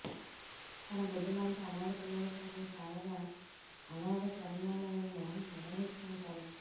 తన బిడ్డలాంటి అనాథ పిల్లల కోసం శారదా అనాధ శరణాలయం ను నిర్వహిస్తుంటాడు